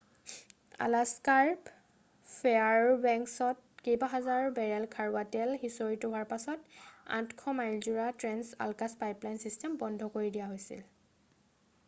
আলাস্কাৰ ফেয়াৰবেংকছত কেইবাহাজাৰ বেৰেল খাৰুৱা তেল সিঁচৰিত হোৱাৰ পাছতে 800 মাইলজোৰা ট্ৰেন্স-আলাকাছ পাইপলাইন ছিষ্টেম বন্ধ কৰি দিয়া হৈছে